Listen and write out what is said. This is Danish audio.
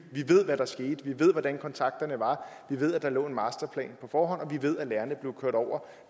ved hvad der skete vi ved hvordan kontakterne var vi ved at der lå en masterplan på forhånd og vi ved at lærerne blev kørt over